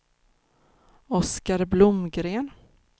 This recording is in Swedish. Oscar Blomgren